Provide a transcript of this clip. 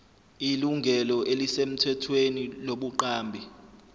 ilungelo elisemthethweni lobuqambi